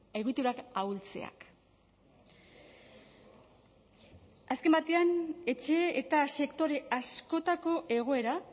egiturak ahultzeak azken batean etxe eta sektore askotako egoera